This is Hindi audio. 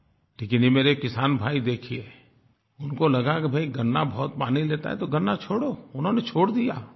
लेकिन ये मेरे किसान भाई देखिए उनको लगा कि भाई गन्ना बहुत पानी लेता है तो गन्ना छोड़ो उन्होंने छोड़ दिया